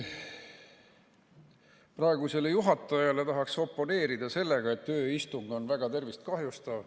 Praegusele juhatajale tahaksin oponeerida selles, et ööistung olevat väga tervist kahjustav.